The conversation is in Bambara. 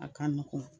A ka nɔgɔn